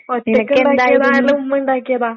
ഒറ്റയ്ക്കിണ്ടാക്കിയതാ അല്ല ഉമ്മ ഇണ്ടാക്കിയതാ?